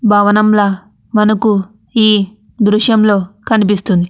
భవనంలా మనకు ఈ దృశ్యంలో కనిపిస్తుంది.